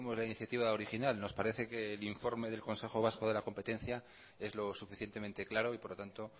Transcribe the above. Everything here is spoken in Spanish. la iniciativa original nos parece que el informe del consejo vasco de la competencia es lo suficientemente claro y por lo tanto